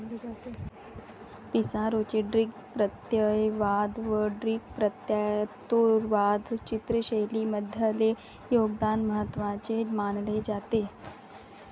पिसारोचे ड्रिक प्रत्ययवाद व ड्रिक प्रत्ययोत्तरवाद चित्रशैलींमधले योगदान महत्वाचे मानले जाते.